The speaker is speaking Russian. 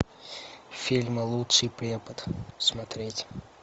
фильм лучший препод смотреть